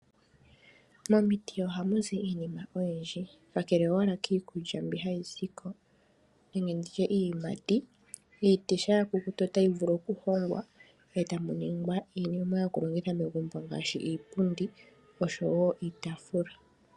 Momiti ohamu zi iinima oyindji. Kakele kiikulya mbi hayi ko nenge iiyimati, iiti shampa ya kukuta otayi vulu okuhongwa e tamu ningwa iinima yokulongitha megumbo ngaashi iipundi oshowo iitaafula.